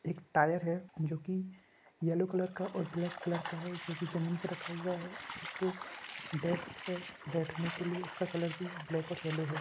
एक टायर है जो कि येलो कलर का और ब्लैक कलर का है जो कि जमीन पे रखा हुआ है। एक डेस्क है बैठने के लिए उसका कलर भी ब्लैक और येलो है।